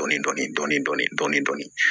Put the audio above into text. Dɔɔnin dɔɔnin dɔɔnin dɔɔnin